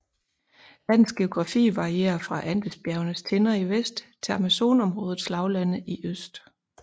Landets geografi varierer fra Andesbjergenes tinder i vest til Amazonområdets lavlande i øst